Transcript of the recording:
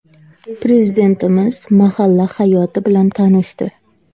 Prezidentimiz mahalla hayoti bilan tanishdi.